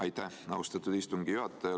Aitäh, austatud istungi juhataja!